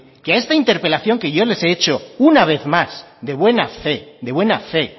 que a esta interpelación que yo les he hecho una vez más de buena fe